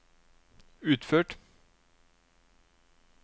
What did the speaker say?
utført